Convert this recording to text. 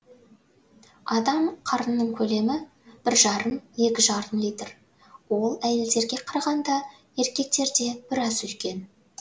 адам қарынының көлемі бір жарым екі жарым литр ол әйелдерге қарағанда еркектерде біраз үлкен